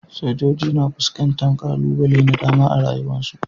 sojoji na fuskantar kalubale da dama a rayuwarsu.